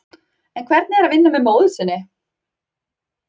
En hvernig er að vinna með móður sinni?